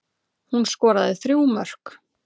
Hún skoraði þrjú mörk